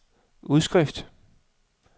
udskrift